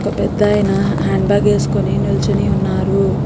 ఒక పెద్దాయన handbag వేసుకుని నిల్చుని ఉన్నారు.